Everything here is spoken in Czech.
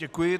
Děkuji.